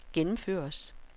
gennemføres